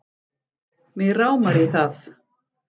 Mig rámar í það